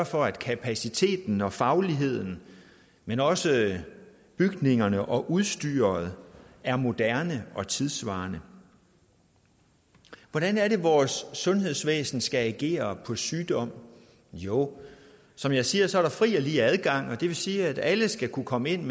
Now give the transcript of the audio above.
for at kapaciteten og fagligheden men også bygningerne og udstyret er moderne og tidssvarende hvordan er det vores sundhedsvæsen skal agere på sygdom jo som jeg siger er der fri og lige adgang og det vil sige at alle skal kunne komme ind